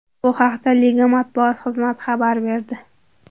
Bu haqda liga matbuot xizmati xabar berdi .